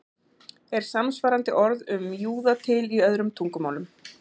Er samsvarandi orð um júða til í öðrum tungumálum?